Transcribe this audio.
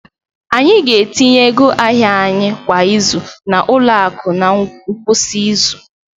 Anyị ga-etinye ego ahịa anyị kwa izu na ụlọ akụ na ngwụsị izu